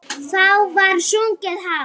Þá var sungið hátt.